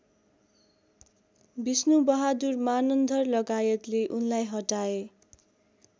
विष्णुबहादुर मानन्धरलगायतले उनलाई हटाए